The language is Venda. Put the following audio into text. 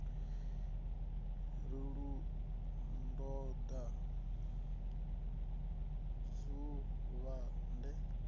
ri u toda dzuvha de